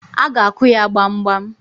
A ga-akụ ya gbamgbam.